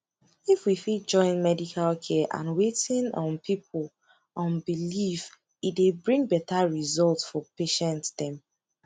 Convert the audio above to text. if we fit join medical care and wetin um people um believe e dey bring better result for patient dem